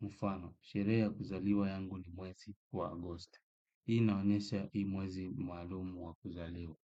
Mfano, sherehe ya kuzaliwa yangu ni mwezi wa Agosti. Hii inaonesha hii mwezi maalumu wa kuzaliwa.